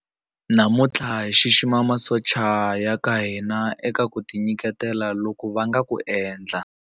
Namuntlha hi xixima masocha ya ka hina eka ku tinyiketela loku va nga ku endla.